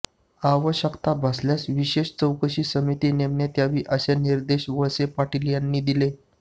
आवश्यकता भासल्यास विशेष चौकशी समिती नेमण्यात यावी असे निर्देश वळसे पाटील यांनी दिले